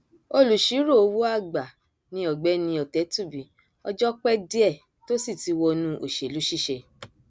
olùṣíròòwòàgbà ni ọgbẹni ọtẹtúbí ọjọ pẹ díẹ tó sì ti wọnú òṣèlú ṣiṣẹ